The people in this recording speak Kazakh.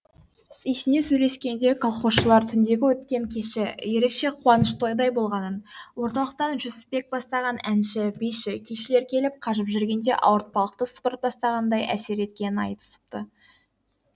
сүйсіне сөйлескенде колхозшылар түндегі өткен кеші ерекше қуаныш тойдай болғанын орталықтан жүсіпбек бастаған әнші биші күйшілер келіп қажып жүргеде ауыртпалықты сыпырып тастағандай әсер еткенін айтысыпты